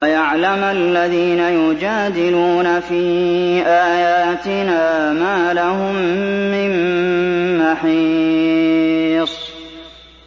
وَيَعْلَمَ الَّذِينَ يُجَادِلُونَ فِي آيَاتِنَا مَا لَهُم مِّن مَّحِيصٍ